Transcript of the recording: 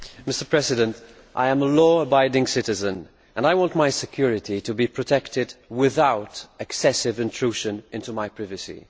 Mr President, I am a law abiding citizen and I want my security to be protected without excessive intrusion into my privacy.